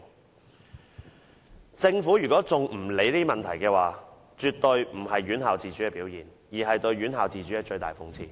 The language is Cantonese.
如果政府仍不理會這些問題，絕對不是尊重院校自主的表現，而是對院校自主的最大諷刺。